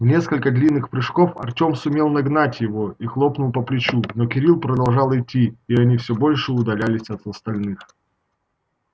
в несколько длинных прыжков артём сумел нагнать его и хлопнул по плечу но кирилл продолжал идти и они всё больше удалялись от остальных